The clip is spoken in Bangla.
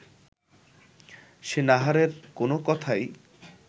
সে নাহারের কোনো কথাই